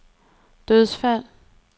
dødsfald